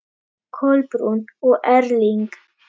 Kolbrún og Erling.